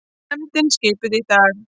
Nefndin skipuð í dag